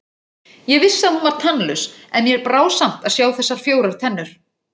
Ég vissi að hún var tannlaus, en mér brá samt að sjá þessar fjórar tennur.